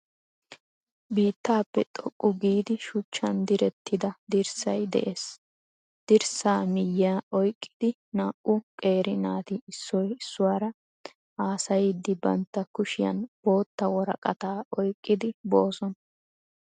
Biittappe xooqqu giidi shuchchaan diireetida diirssayi de'ees. Diirsaa miyaa oyiiqidi na'au qeeri naati issoy issuwaara haasayidi baantta kuushshiyaan bootta woraqqata oyiqqidi bosoona.